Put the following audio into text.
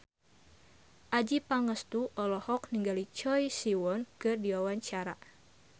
Adjie Pangestu olohok ningali Choi Siwon keur diwawancara